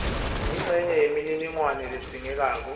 incenye yemininingwane ledzingekako